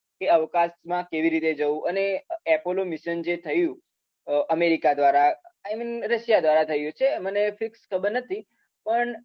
કે અવકાશમાં કેવી રીતે જવુ, અને એપોલો મિશન જે થયુ. અમેરીકા દ્રારા, આઈમીન રશીયા દ્રારા થયુ હશે. મને ફિક્સ ખબર નથી. પણ